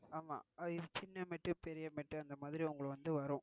ஆமா. இது சின்ன mat பெரிய mat அந்தமாதிரி வந்து வரும்.